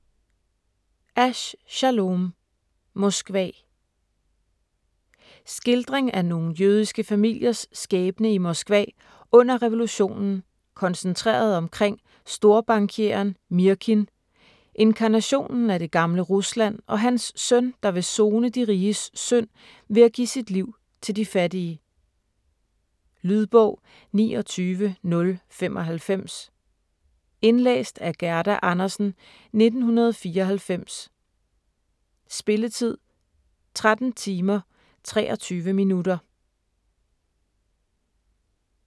Asch, Schalom: Moskva Skildring af nogle jødiske familiers skæbne i Moskva under revolutionen koncentreret omkring storbankieren Mirkin, inkarnationen af det gamle Rusland og hans søn, der vil sone de riges synd ved at give sit liv til de fattige. Lydbog 29095 Indlæst af Gerda Andersen, 1994. Spilletid: 13 timer, 23 minutter.